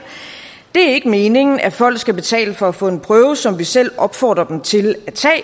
det er ikke meningen at folk skal betale for at få en prøve som vi selv opfordrer dem til at